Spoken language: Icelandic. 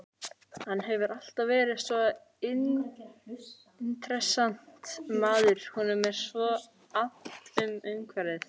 Hann hefur alltaf verið svo intressant maður, honum er svo annt um umhverfið.